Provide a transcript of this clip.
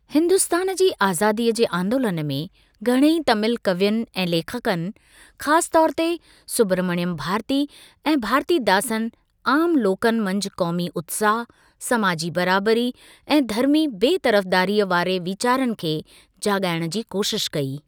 हिंदुस्तानु जी आज़ादीअ जे आंदोलन में घणेई तमील कवियुनि ऐं लेखकनि, ख़ास तौर ते सुब्रमण्य भारती ऐं भारतीदासन आमु लोकनि मंझि क़ौमी उत्साहु, समाजी बराबरी ऐं धर्मी बे तर्फ़दारीअ वारे वीचारनि खे जाॻाइणु जी कोशिश कई।